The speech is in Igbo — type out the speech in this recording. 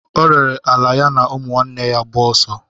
O rere ala ya na ụmụnne ya gbaa ọsọ.